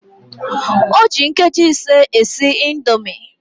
O ji nkeji ise esi indomi